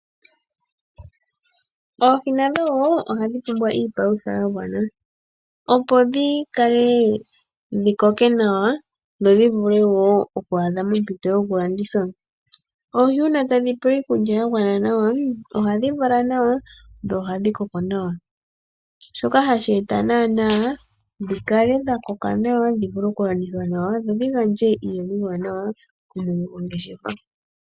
Oohi nadho wo ohadhi pumbwa iipalutha ya gwana, opo dhi kale dhi koke nawa dho dhi vule wo oku adha mompito yokulandithwa. Oohi uuna tadhi pewa iikulya ya gwana nawa ohadhi vala nawa dho ohadhi koko nawa. Shoka hashi eta naanaa dhi kale dha koka nawa dhi vule okulandithwaz, dho dhi gandje iiyemo iiwanawa kumwene gongeshefa.